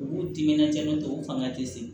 U b'u timinandiya ni tɔw fanga te se